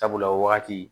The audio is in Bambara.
Sabula o wagati